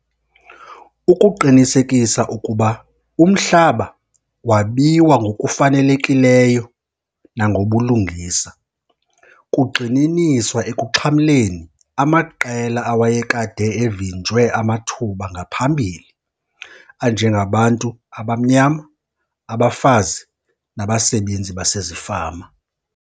Ukuqinisekisa ukuba umhlaba wabiwa ngokufanelekileyo nangobulungisa, kugxininiswa ekumxhamleni amaqela awayekade evinjwe amathuba ngaphambili anjengabantu abamnyama, abafazi, nabasebenzi basezifama.